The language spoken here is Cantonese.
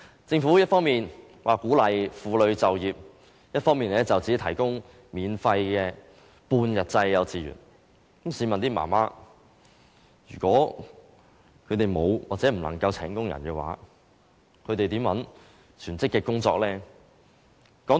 政府一方面說鼓勵婦女就業，另一方面只提供免費半日制幼稚園教育，試問這些母親如果沒有或不能夠聘請傭人，怎能找全職工作？